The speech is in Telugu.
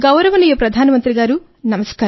గౌరవనీయ ప్రధానమంత్రి గారూ